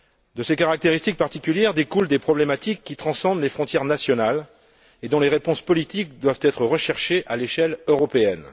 De ces caractéristiques particulières découlent des problématiques qui transcendent les frontières nationales et dont les réponses politiques doivent être recherchées à l'échelle européenne.